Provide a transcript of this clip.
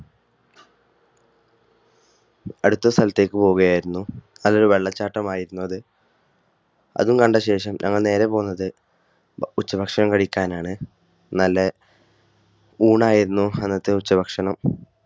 അടുത്ത സ്ഥലത്തേക്ക് പോവുകയായിരുന്നു. അതൊരു വെള്ളച്ചാട്ടം ആയിരുന്നു അത്. അതും കണ്ട ശേഷം ഞങ്ങൾ നേരെ പോകുന്നത് ഉച്ചഭക്ഷണം കഴിക്കാൻ ആണ്. നല്ല ഊണായിരുന്നു അന്നത്തെ ഉച്ചഭക്ഷണം.